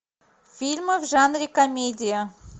фильмы в жанре комедия